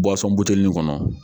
buteli nin kɔnɔ